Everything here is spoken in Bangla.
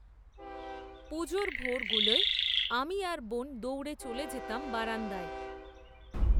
পুজোর ভোরগুলোয়, আমি, আর বোন দৌড়ে চলে যেতাম বারান্দায়